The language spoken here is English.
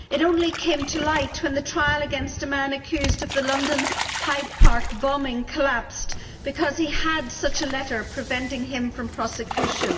It only came to light when the trial against a man accused of the London Hyde Park bombing collapsed because he had such a letter preventing him from prosecution.